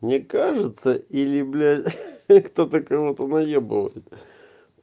мне кажется или бля кто-то кого-то наебывает